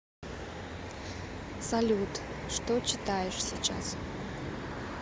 салют что читаешь сейчас